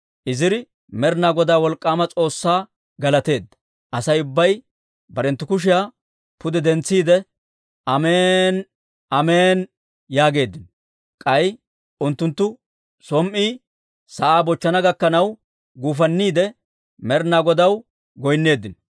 Iziri Med'inaa Godaa, wolk'k'aama S'oossaa galateedda. Asay ubbay barenttu kushiyaa pude dentsiide, «Amen"i, Amen"i» yaageeddino. K'ay unttunttu som"i sa'aa bochchana gakkanaw guufanniide, Med'inaa Godaw goynneeddino.